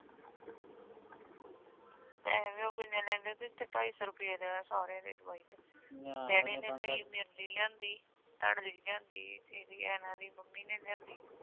ਪੈਸੇ ਵੀ ਓਹ ਕਿਨ੍ਹੇ ਲਹਿੰਦੇ ਸੀ ਉਥੇ ਢਾਈ ਸੋ ਰਪੇ ਲਿਆ ਸਾਰੀਆਂ ਦੇ ਦਵਾਈ ਦੇ ਤੇ ਏਨਾ ਦੀ ਮੰਮੀ ਨੇ ਲਿਆਂਦੀ